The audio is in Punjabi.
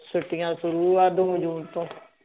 ਛੁੱਟੀਆਂ ਸ਼ੁਰੂ ਆ ਦੋ ਜੂਨ ਤੋਂ